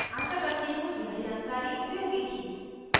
आशा करती हूँ यह जानकारी उपयोगी थी